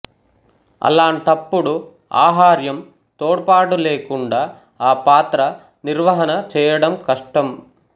అలాంటప్పుడు ఆహార్యం తోడ్పాటులేకుండా ఆ పాత్ర నిర్వహణ చేయడం కష్టం